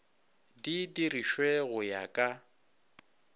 di dirišwe go ya ka